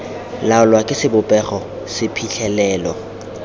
laolwa ke sebopego se phitlhelelo